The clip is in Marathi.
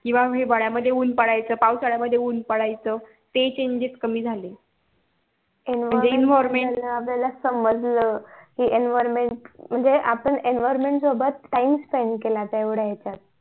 किंवा हिवळ्या मध्ये ऊन पडायचं पावसाळ्या मध्ये ऊन पडायचं ते कमी झाले आपल्याला समजलं कि environment म्हणजे आपण environment सोबत time spend केला तेवढ्या यांच्यात